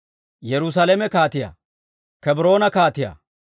Yerusaalame kaatiyaa, Kebroona kaatiyaa,